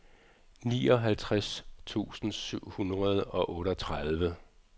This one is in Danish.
nioghalvtreds tusind syv hundrede og otteogtredive